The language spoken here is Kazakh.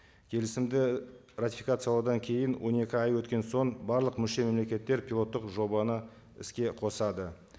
келісімді ратификациялаудан кейін он екі ай өткен соң барлық мүше мемлекеттер пилоттық жобаны іске қосады